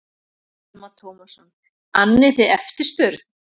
Telma Tómasson: Annið þið eftirspurn?